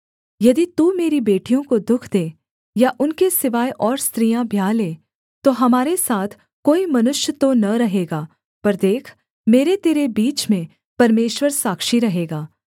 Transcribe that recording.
यदि तू मेरी बेटियों को दुःख दे या उनके सिवाय और स्त्रियाँ ब्याह ले तो हमारे साथ कोई मनुष्य तो न रहेगा पर देख मेरे तेरे बीच में परमेश्वर साक्षी रहेगा